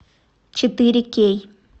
четыре кей